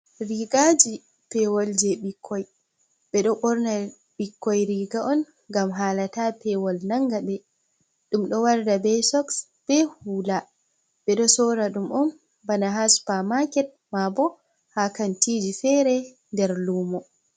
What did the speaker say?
Rigaaji pewol jei ɓikkoi. Ɓe ɗo ɓorna ɓikkoi riga'on ngam hala taa pewol nanga ɓe. Ɗum ɗo warda be soks, be hula. Ɓe ɗo sora ɗum on bana haa supa maket, mabo haa kantiji fere der lumo.